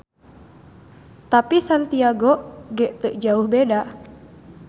Tapi Santiago ge teu jauh beda.